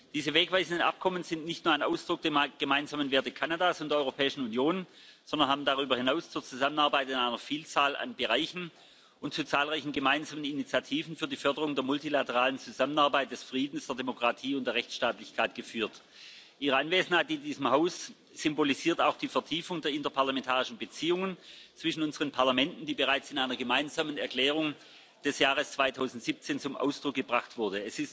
Diese wegweisenden Abkommen sind nicht nur ein Ausdruck der gemeinsamen Werte Kanadas und der Europäischen Union, sondern haben darüber hinaus zur Zusammenarbeit in einer Vielzahl an Bereichen und zu zahlreichen gemeinsamen Initiativen für die Förderung der multilateralen Zusammenarbeit, des Friedens, der Demokratie und der Rechtstaatlichkeit geführt. Ihre Anwesenheit in diesem Haus symbolisiert auch die Vertiefung der interparlamentarischen Beziehungen zwischen unseren Parlamenten, die bereits in einer Gemeinsamen Erklärung des Jahres 2017 zum Ausdruck gebracht wurde.